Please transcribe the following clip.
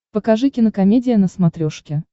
покажи кинокомедия на смотрешке